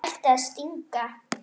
Það ætti að stinga.